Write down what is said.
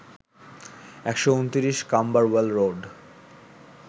১২৯, Camberwell road